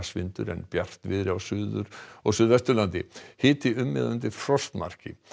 vindur en bjartviðri á Suður og Suðvesturlandi hiti um eða undir frostmarki